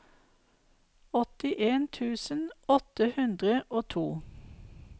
åttien tusen åtte hundre og to